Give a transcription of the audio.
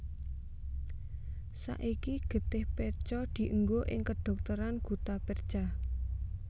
Saiki getih perca dienggo ing kedhokteran guttapercha